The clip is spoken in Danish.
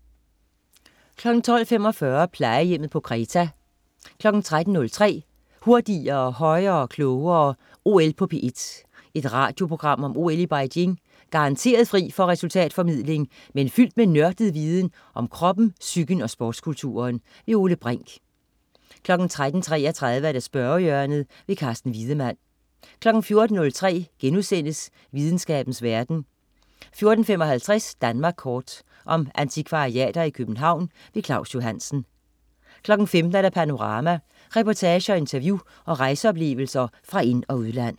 12.45 Plejehjemmet på Kreta 13.03 Hurtigere, højere, klogere. OL på P1. Et radioprogram om OL i Beijing. Garanteret fri for resultatformidling, men fyldt med nørdet viden om kroppen, psyken og sportskulturen. Ole Brink 13.33 Spørgehjørnet. Carsten Wiedemann 14.03 Videnskabens verden* 14.55 Danmark kort. Om antikvariater i København. Claus Johansen 15.00 Panorama. Reportager, interview og rejseoplevelser fra ind- og udland